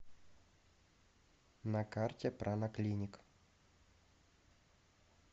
на карте прана клиник